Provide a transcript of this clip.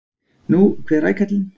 Nú, hver rækallinn!